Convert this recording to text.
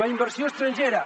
la inversió estrangera